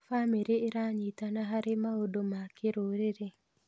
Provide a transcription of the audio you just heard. Bamĩrĩ ĩranyitanĩra harĩ maũndũ ma kĩrũrĩrĩ.